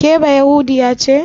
Ke bayahudiya ce?